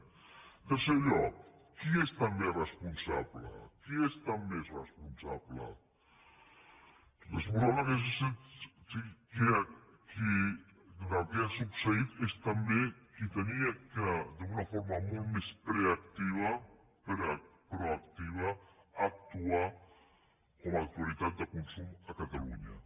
en tercer lloc qui n’és també responsable qui n’és també responsable responsable del que ha succeït és també qui havia d’una forma molt més proactiva actuar com a autoritat de consum a catalunya